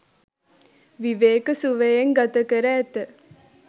විවේක සුවයෙන් ගත කර ඇත.